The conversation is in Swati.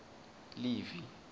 livi